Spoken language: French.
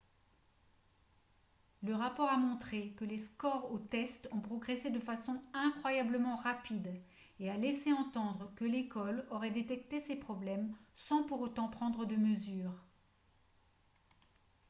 le rapport a montré que les scores aux tests ont progressé de façon incroyablement rapide et a laissé entendre que l'école aurait détecté ces problèmes sans pour autant prendre de mesures